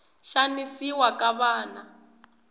xanisiwa ka vana